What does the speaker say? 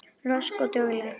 Rösk og dugleg.